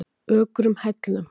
Ökrum Hellnum